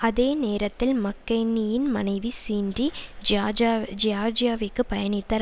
அதே நேரத்தில் மக்கெயினியின் மனைவி சீண்டி ஜியார்ஜியா ஜியார்ஜியாவிக்கு பயணித்தார்